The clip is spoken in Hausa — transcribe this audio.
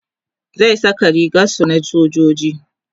zai Saka rigar su na sojoji